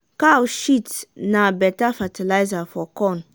cow shit na beta fertilizer for corn.